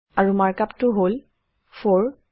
আৰু markup টো হল 4